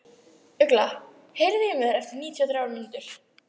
Ugla, heyrðu í mér eftir níutíu og þrjár mínútur.